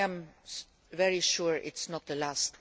I am very sure it is not the last.